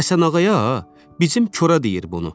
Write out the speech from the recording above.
Həsənağaya ha, bizim kora deyir bunu.